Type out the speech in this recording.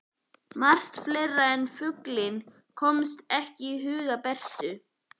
Margt fleira en fuglinn komst ekki að í huga Bertu.